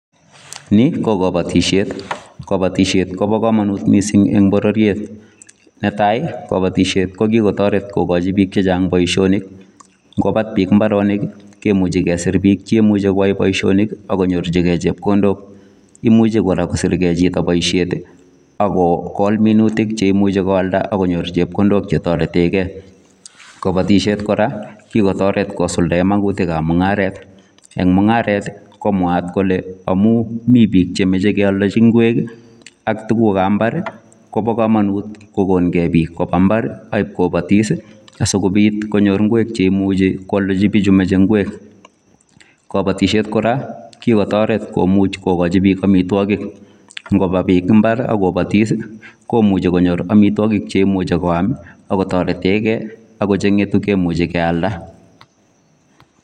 Ni ko kabatisyeet, kabatisyeet ko bo kamanut missing en bororiet, netai ko kabatisyeet ko kikotaret kogochiii biik che chaang boisionik, ingo BAAT biik mbaronik ii kemuchei kesiir biik cheimuiche koyai boisionik ii ak konyoorjigei chepkondook imuchei kora kosirgei chitoo eng boisiet ii ak kogol minutik cheimuche koalda akonyoor minutik che tareteen gei kabatisyeet kora kikotaret kosuldaen mungaret, eng mungaret ii ko mwaat kole amuun Mii biik chemachei keyaldejii ngweech ii ab mbaar Kobo kamanut kogoon gei biik ak kobaa mbaar ak kobatis asikobiit konyoor ngweek chekimuchei koaldeji bichuu machei ngweek, kabatisyeet kora kikotaret komuuch kogochii biik amitwagiik ingobaa biik mbar agobatis ii komuchei konyoor amitwagiik cheimuuchi koyaam ii ako tareteen gei ako chengei tuguuk cheimuche kotareteen gei kora.